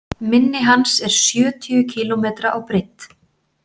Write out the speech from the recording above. Mynni hans er sjötíu kílómetra á breidd.